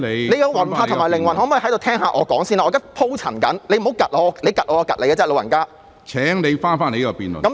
你的魂魄和靈魂可否先聽聽我的發言，我正在鋪陳，你不要"窒"我，你"窒"我，我便"窒"你"老人家"。